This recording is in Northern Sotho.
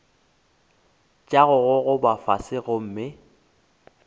tša go gogoba fase gomme